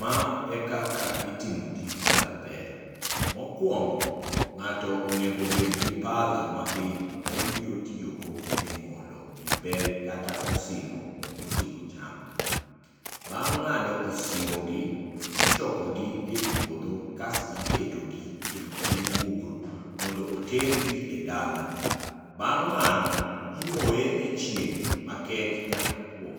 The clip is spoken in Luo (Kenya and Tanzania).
Ma ekaka itimo tij kayo bel. Mokuongo ng'ato onego obed gi pala mabith ma obiro tiyogo e ng'olo wi bel kata osimbo moting'o cham. Bang' ng'ado osimbogi, ichokogi e puodho kasto iketogi e epien gugru mondo otergi e dala bang#mano imoye e chieng' makech nyaka otuo